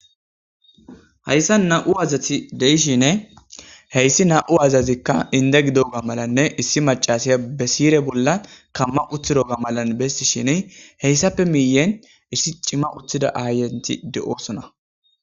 hayssa na7u azati deishine heyssi na7u azazikka inda gido ga malanne issi macasiya be sire bolla kamma uthiro ga malan bessi shine heyssappe miyen issi cimma uthida ahaayenti de7osona